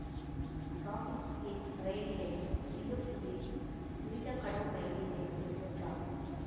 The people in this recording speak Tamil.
ராஃபிள்ஸ் பிளேஸ் ரயில் நிலையம் சிங்கப்பூரின் துரித கடவு ரயில் நிலையங்களில் ஒன்றாகும்